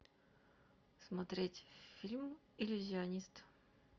смотреть фильм иллюзионист